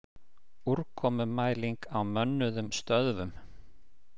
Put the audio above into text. Úrkomumæling á mönnuðum stöðvum